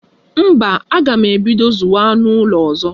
Mba, aga m ebido zụwa anụ ụlọ ọzọ.